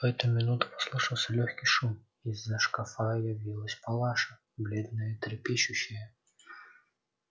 в эту минуту послышался лёгкий шум и из-за шкафа явилась палаша бледная и трепещущая